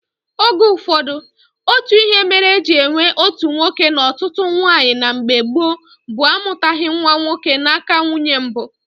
Oge ụfọdụ, otu ihe mere eji enwe otu nwoke na ọtụtụ nwaanyị na mgbe gboo bụ amụtaghị nwa nwoke n'aka nwunye mbụ